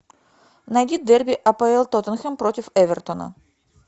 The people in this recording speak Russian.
найди дерби апл тоттенхэм против эвертона